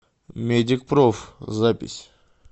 медикпроф запись